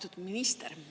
Austatud minister!